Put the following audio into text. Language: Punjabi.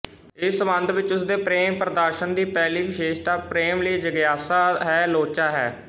ਇਸ ਸਬੰਧ ਵਿੱਚ ਉਸਦੇ ਪ੍ਰੇਮ ਪ੍ਰਦਰਸ਼ਨ ਦੀ ਪਹਿਲੀ ਵਿਸ਼ੇਸ਼ਤਾ ਪ੍ਰੇਮ ਲਈ ਜਗਿਆਸਾ ਹੈ ਲੋਚਾ ਹੈ